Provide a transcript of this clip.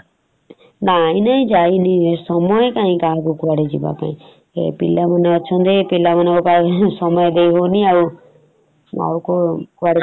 ନାଇଁ ନାଇଁ ଯାଇନି । ସମୟ କାଇଁ କାହାକୁ କୁଆଡେ ଯିବାପାଇଁ । ପିଲାମାନେ ଅଛନ୍ତି ପିଲାମାନଙ୍କ ପାଇଁ ହିଁ ସମୟ ଦେଇ ହଉନି ଆଉ। ଆଉ କଉ କୁଆଡେ